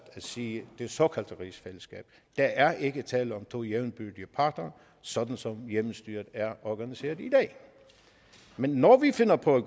siger det såkaldte rigsfællesskab der er ikke tale om to jævnbyrdige parter sådan som hjemmestyret er organiseret i dag men når vi finder på at